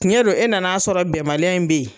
Tiɲɛ don e nan'a sɔrɔ bɛnbaliya in be ye